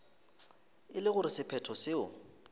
e le gore sephetho seo